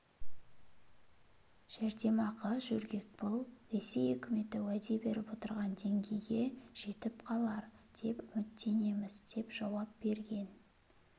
жәрдемақы жөргекпұл ресей үкіметі уәде беріп отырған деңгейге жетіп қалар деп үміттенеміз деп жауап берген